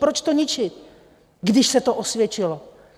Proč to ničit, když se to osvědčilo?